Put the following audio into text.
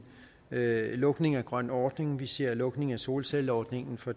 lukning af grøn ordning vi ser lukning af solcelleordningen fra